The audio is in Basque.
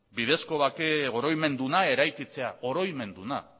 bidezko bake oroimenduna eraikitzea oroinmenduna